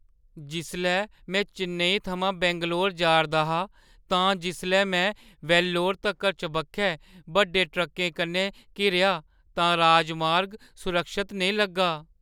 जिसलै में चेन्नई थमां बैंगलोर जा’रदा हा तां जिसलै में वेल्लोर तक्कर चबक्खै बड्डे ट्रक्कें कन्नै घिरेआ तां राजमार्ग सुरक्षत नेईं लग्गा।